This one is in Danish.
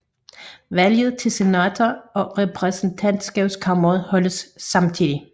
Valg til senatet og repræsentantkammeret holdes samtidig